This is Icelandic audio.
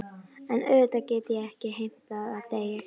En auðvitað get ég ekki heimtað að deyja hjá þér.